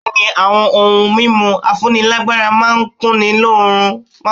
Bẹ̀ẹ́ni, àwọn ohun mímu afúnílágbára máà ń kunni lóorun.